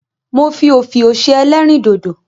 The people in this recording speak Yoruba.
Mo fi òfiò ṣe ẹlẹ́rìndòdò.